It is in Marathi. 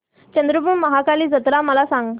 चंद्रपूर महाकाली जत्रा मला सांग